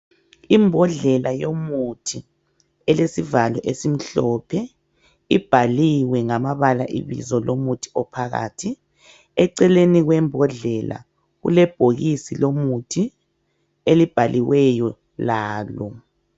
Imbodlela yomuthi elesivalo esimhlophe ibhaliwe ngamabala ibizo lomuthi ophakathi eceleni kwembodlela kulebhokisi lomuthi elibhaliweyo lalo